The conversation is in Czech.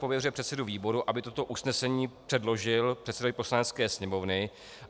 Pověřuje předsedu výboru, aby toto usnesení předložil předsedovi Poslanecké sněmovny.